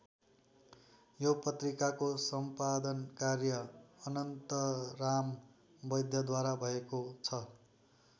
यो पत्रिकाको सम्पादन कार्य अनन्तराम वैद्यद्वारा भएको छ।